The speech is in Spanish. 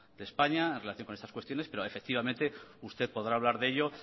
de españa en relación con estas cuestiones pero efectivamente usted podrá hablar de ello